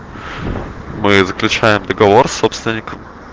мы заключаем договор с собственником